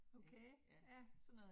Okay, ja